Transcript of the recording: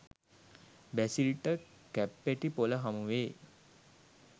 බැසිල්ට කැප්පෙටිපොළ හමුවේ